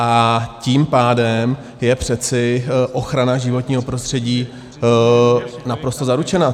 A tím pádem je přeci ochrana životního prostředí naprosto zaručena.